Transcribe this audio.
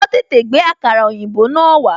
Wọn tètè gbé àkàrà òyìnbó náà wá